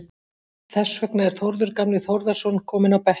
Þess vegna er Þórður gamli Þórðarson kominn á bekkinn.